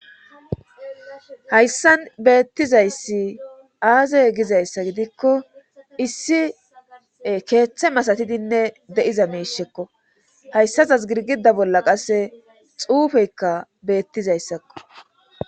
Hayssan beettizayssi aazey gizayssa gidikko issi keeththe masatidinne de'iza miishekko hayssa zaz girgida bolla qasse xuufeykka beettizayssakko.